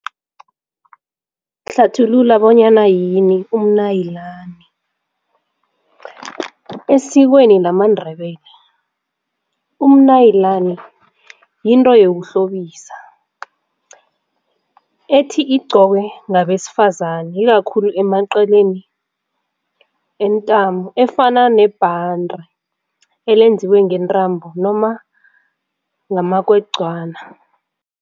Hlathulula bonyana yini umnayilani. Esikweni lamaNdebele umnayilani yinto yokuhlobisa ethi igqokwe ngabesifazani ikakhulu emanceleni entamo efana nebhande elenziwe ngentambo noma ngamakogcwani.